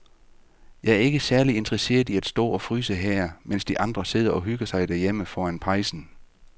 Jeg er ikke særlig interesseret i at stå og fryse her, mens de andre sidder og hygger sig derhjemme foran pejsen.